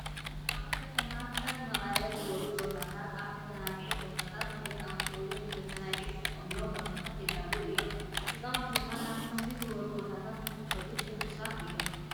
ኣብ ከተማታት ከም መቐለ ዝበሉ ቦታታት ኣብ መዘናጋዕቲ ቦታታት ናይ ህፃውንቲ እውን ንመዛናዕዒ ዝጥቀምሎም ቦታታት የዳልዉ እዮም። ህፃውንቲ ድማ ናብ ከምዚ ዝበሉ ቦታታት እንትኸዱ ሕጉሳት እዮም።